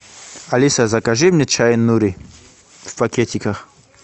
алиса закажи мне чай нури в пакетиках